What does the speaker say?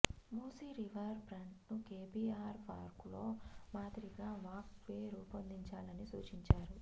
Musi river ఫ్రంట్ను KBR పార్క్లో మాదిరిగా వాక్ వే రూపొందించాని సూచించారు